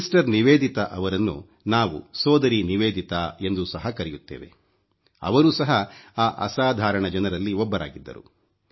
sister Nivedita ಅವರನ್ನು ನಾವು ಸೋದರಿ ನಿವೇದಿತಾ ಎಂದೂ ಸಹ ಕರೆಯುತ್ತೇವೆ ಅವರೂ ಸಹ ಆ ಅಸಾಧಾರಣ ಜನರಲ್ಲಿ ಒಬ್ಬರಾಗಿದ್ದರು